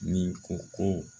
Nin ko ko